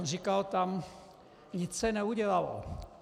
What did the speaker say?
On tam říkal: Nic se neudělalo.